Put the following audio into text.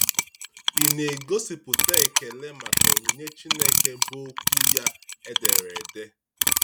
Ị̀ na - egosipụta ekele maka onyinye Chineke bụ́ Okwu ya e dere ede?